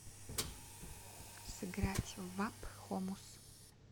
сыграть в апп хомус